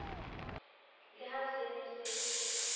le ha se ne se